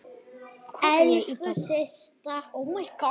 Elsku Systa.